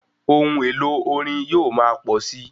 Ohun èlò orin yóò máa pọ̀ síi.